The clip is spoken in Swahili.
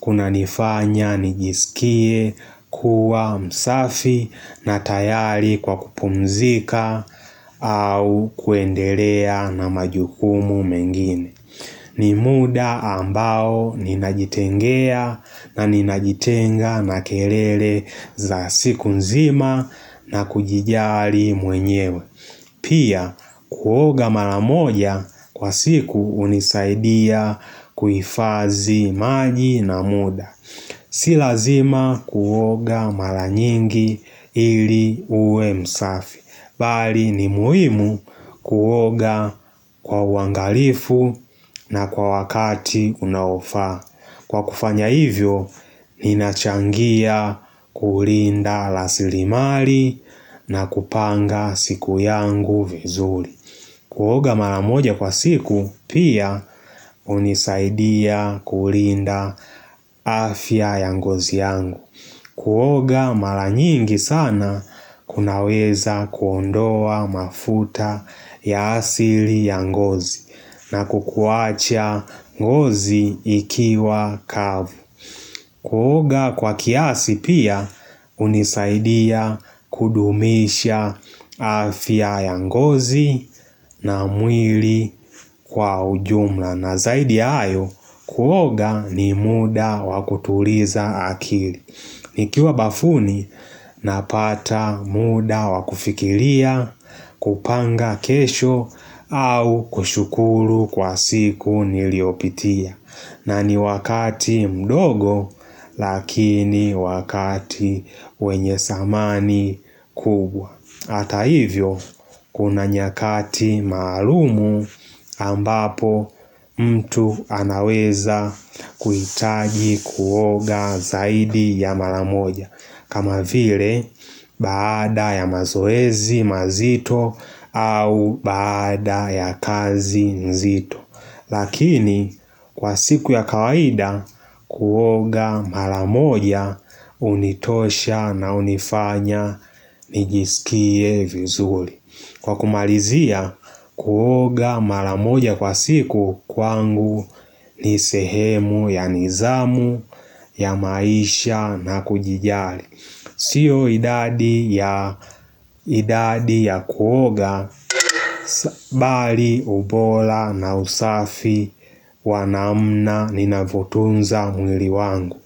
kunanifanya, nijisikie, kuwa, msafi na tayari kwa kupumzika au kuendelea na majukumu mengine ni muda ambao ninajitengea na ninajitenga na kelele za siku nzima na kujijali mwenyewe Pia kuoga mara moja kwa siku unisaidia kuifadhi maji na muda Si lazima kuoga mara nyingi ili uwe msafi, bali ni muhimu kuoga kwa uangalifu na kwa wakati unaofa. Kwa kufanya hivyo, ninachangia kulinda rasilimali na kupanga siku yangu vizuri. Kuoga mara moja kwa siku pia unisaidia kulinda afya ya ngozi yangu. Kuoga mara nyingi sana kunaweza kuondoa mafuta ya asili ya ngozi na kukuacha ngozi ikiwa kavu. Kuoga kwa kiasi pia unisaidia kudumisha afya ya ngozi na mwili kwa ujumla na zaidi ya hayo kuoga ni muda wakutuliza akili. Nikiwa bafuni napata muda wa kufikiria kupanga kesho au kushukuru kwa siku niliopitia na ni wakati mdogo lakini wakati wenye zamani kubwa. Hata hivyo kuna nyakati maalumu ambapo mtu anaweza kuitaji kuoga zaidi ya mara moja kama vile baada ya mazoezi mazito au baada ya kazi nzito Lakini kwa siku ya kawaida kuoga mara moja unitosha na unifanya nijisikie vizuri Kwa kumalizia kuoga maramoja kwa siku kwangu ni sehemu ya nizamu ya maisha na kujijali Sio idadi ya kuoga bali ubora na usafi wa namna nina vyootunza mwili wangu.